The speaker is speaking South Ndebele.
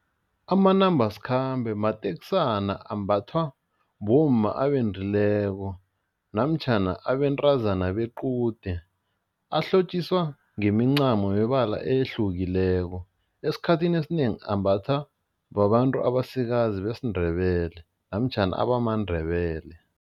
Amanambasikhambe matekisana ambathwa bomma abendileko namtjhana abentazana bequde, ahlotjiswa ngemincamo yebala ehlukileko, esikhathini esinengi ambathwa babantu abasikazi besiNdebele namtjhana abamaNdebele.